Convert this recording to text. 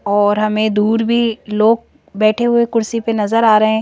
और हमें दूर भी लोग बैठे हुए कुर्सी पर नजर आ रहे हैं।